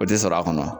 O tɛ sɔrɔ a kɔnɔ